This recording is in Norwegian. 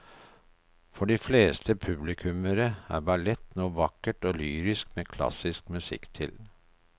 For de fleste publikummere er ballett noe vakkert og lyrisk med klassisk musikk til.